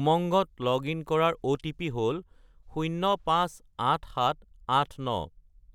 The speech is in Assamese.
উমংগত লগ-ইন কৰাৰ অ'টিপি হ'ল 058789